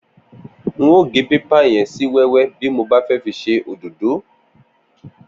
N óò gé pépà yẹn sí wẹ́wẹ́ bí mo bá fẹ́ fi ṣe òdódó